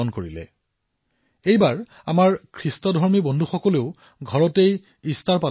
আমি দেখা পাইছো যে খ্ৰীষ্টান বন্ধুসকলে ইষ্টাৰ ঘৰতেই পালন কৰিছে